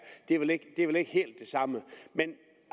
det er vel ikke helt det samme men